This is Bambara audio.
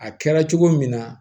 A kɛra cogo min na